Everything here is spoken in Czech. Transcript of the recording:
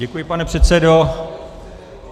Děkuji, pane předsedo.